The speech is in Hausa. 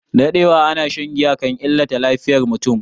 Daɗewa ana shan giya kan illata lafiyar mutum